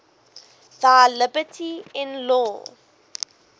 thy liberty in law